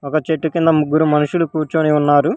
ఆ చెట్టు కింద ముగ్గురు మనుషులు కూర్చొని ఉన్నారు.